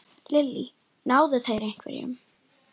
Lillý: Náðu þeir einhverjum?